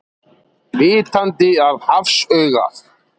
Vitandi að hafsaugað.